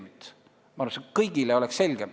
Nii oleks kõigile palju selgem.